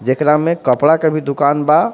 जेकरा में कपड़ा के भी दुकान बा.